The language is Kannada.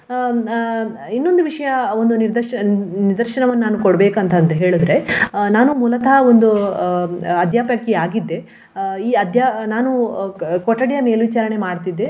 ಹ್ಮ್ ಅಹ್ ಇನ್ನೊಂದು ವಿಷಯ ಒಂದು ನಿರ್ದಶ~ ನಿದರ್ಶನವನ್ನು ನಾನ್ ಕೊಡಬೇಕಂತ ಅಂತ ಹೇಳಿದ್ರೆ ಅಹ್ ನಾನು ಮೂಲತಃ ಒಂದು ಅಹ್ ಅದ್ಯಾಪಕಿ ಆಗಿದ್ದೆ ಆ ಈ ಅದ್ಯ~ ನಾನು ಕೊಠಡಿಯ ಮೇಲ್ವಿಚಾರಣೆ ಮಾಡ್ತಿದ್ದೆ.